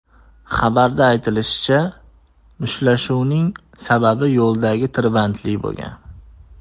Xabarda aytilishicha, mushtlashuvning sababi yo‘ldagi tirbandlik bo‘lgan.